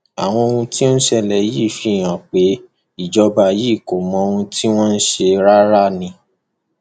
àwọn ohun tó ń ṣẹlẹ yìí fi hàn pé ìjọba yìí kò mọ ohun tí wọn ń ṣe rárá ni